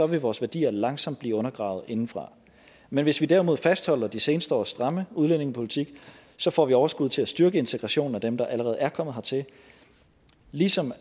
vil vores værdier langsomt blive undergravet indefra men hvis vi derimod fastholder de seneste års stramme udlændingepolitik får vi overskud til at styrke integrationen af dem der allerede er kommet hertil ligesom